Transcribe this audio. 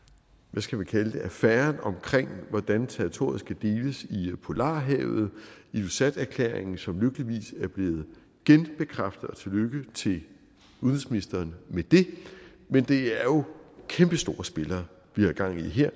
hvad skal vi kalde det affæren omkring hvordan territoriet skal deles i polarhavet ilulissaterklæringen som lykkeligvis er blevet genbekræftet og tillykke til udenrigsministeren med det men det er jo kæmpestore spillere vi har gang i her